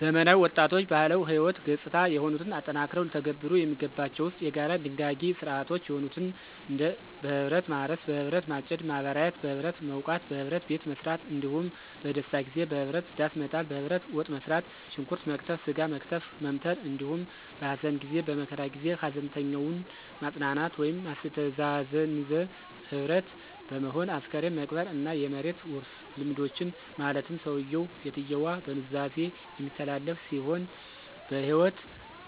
ዘመናዊ ወጣቶችባህላዊ ህይወት ገጽታ የሆኑትን አጠናክረው ሊተገብሩ የሚገባቸው ዉስጥ፣ የጋራ ድጋጊ ሥርዓቶች የሆኑትን እንደበህብረትማርስ፣ በህብረት ማጨድ፣ ማበራየት፣ (በህብረትመዉቃት)፣በህብረት ቤትመሥራት፣ እንዳሁም በደስታጊዜበህብረት ዳሥመጣል፣ በህብረት ወጥመሥራት፣ ሽንኩረት መክተፍ፣ ሥጋ መክተፍ(መምተር)አንዲሁም በሀዘንጊዜ(በመከራ ጊዜ) ሀዘንተኛዉን ማጽናናት ወይም ማስተዛዘንዘ ህብረት በመሆን አስክሬን መቅበር። እና የመሬት ዉርሥልምዶችን ማለትም ሠዉየዉ ( ሴትየዋ)በኑዛዜ የሚተላለፍ ሲሆን በህይወት